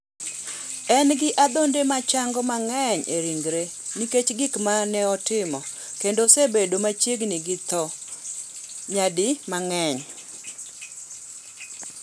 En gi adhonde mochango mang’eny e ringre nikech gik ma notemo, kendo osebedo machiegni gi tho nyadi mang’eny